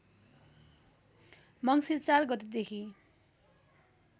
मङ्सिर ४ गतेदेखि